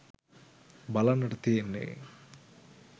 බලන්නට තියෙන්නේ